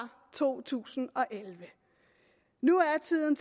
to tusind og elleve nu er tiden